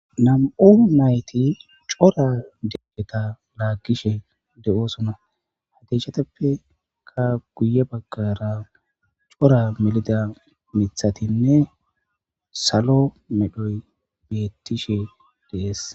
nam7u mayti cora deggeta laakkishe de7oosona hadechatappeka guye baggara cora melida mithatinne salo medhoy beettishe dees